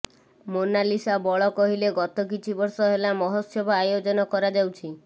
ମୋନାଲିସା ବଳ କହିଲେ ଗତ କିଛି ବର୍ଷ ହେଲା ମହୋତ୍ସବ ଆୟୋଜନ କରାଯାଉଛି